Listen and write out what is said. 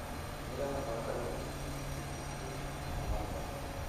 Miraha barada mcn waxay bixiyaan tamar badan.